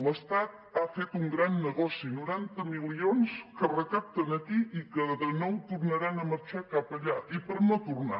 l’estat ha fet un gran negoci noranta milions que recapten aquí i que de nou tornaran a marxar cap allà i per no tornar